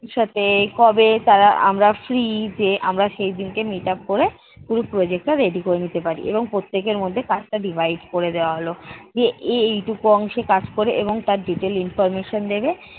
সাথে কবে তারা আমরা free যে আমরা সেই দিন কে meet up করে project টা ready করে নিতে পারি এবং প্রত্যেকের মধ্যে কাজটা divide করে দেওয়া হলো। যে এ এই টুকু অংশে কাজ করে এবং তার detail information দেবে